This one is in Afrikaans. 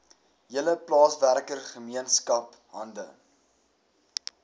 hele plaaswerkergemeenskap hande